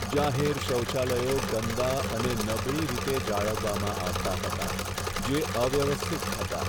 જાહેર શૌચાલયો ગંદા અને નબળી રીતે જાળવવામાં આવતા હતા, જે અવ્યવસ્થિત હતા.